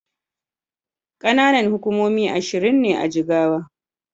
Ƙananan hukumomi ashirin ne a Jigawa.